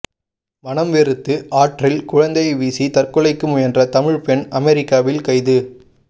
மனம் வெறுத்து ஆற்றில் குழந்தையை வீசி தற்கொலைக்கு முயன்ற தமிழ் பெண் அமெரிக்காவில் கைது